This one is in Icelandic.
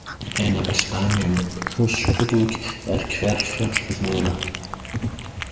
Einna best dæmi um öskugíg er Hverfjall við Mývatn.